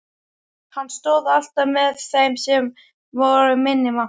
Hann stóð alltaf með þeim sem voru minni máttar.